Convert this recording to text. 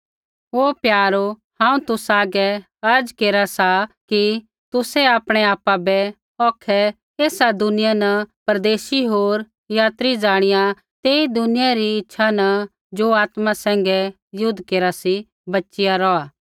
हे प्यारो हांऊँ तुसा हागै अर्ज़ा केरा सा कि तुसै आपणै आपा बै औखै ऐसा दुनिया न परदेशी होर यात्री ज़ाणिया तेई दुनिया री इच्छा न ज़ो आत्मा सैंघै युद्ध केरा सी बच़िया रौहा